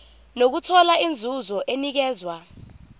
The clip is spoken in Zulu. nokuthola inzuzo enikezwa